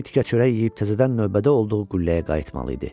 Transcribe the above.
Bir tikə çörək yeyib təzədən növbədə olduğu qülləyə qayıtmalı idi.